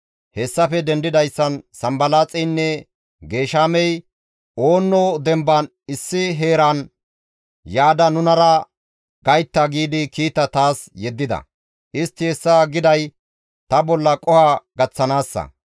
Hessafe dendidayssan Sanbalaaxeynne Geeshamey, «Oonno demban issi heeran yaada nunara gaytta» giidi kiita taas yeddida; istti hessa giday ta bolla qoho gaththanaassa.